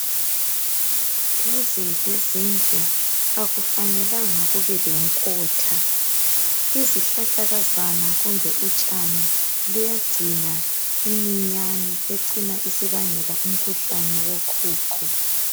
Duze lezindlu akufanelanga kube lenkotha, izihlahlakazana kumbe utshane. Luyagcina iminyane egcina isibangela umkhuhlane woqhuqho.